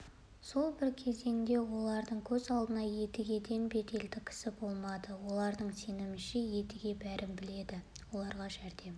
сол бір кезеңде олардың көз алдында едігеден беделді кісі болмады олардың сенімінше едіге бәрін де біледі оларға жәрдем